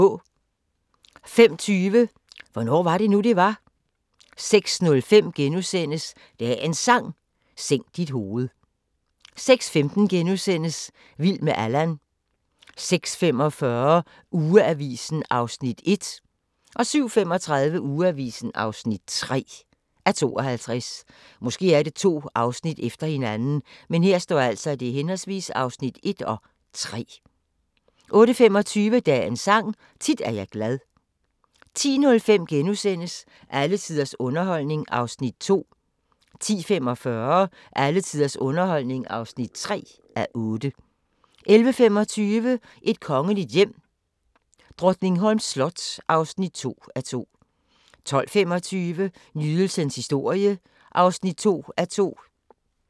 05:20: Hvornår var det nu, det var? 06:05: Dagens Sang: Sænk dit hoved * 06:15: Vild med Allan * 06:45: Ugeavisen (1:52) 07:35: Ugeavisen (3:52) 08:25: Dagens Sang: Tit er jeg glad 10:05: Alle tiders underholdning (2:8)* 10:45: Alle tiders underholdning (3:8) 11:25: Et kongeligt hjem: Drottningholms slot (2:2) 12:25: Nydelsens historie (2:2)